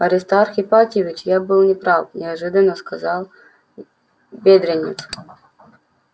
аристарх ипатьевич я был не прав неожиданно сказал бедренец